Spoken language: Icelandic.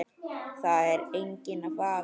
Það er enginn vafi.